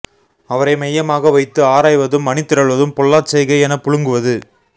அவரை மையமாக வைத்து ஆராய்வதும் அணிதிரள்வதும் பொல்லாச் செய்கை எனப் புழுங்குவது